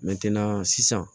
sisan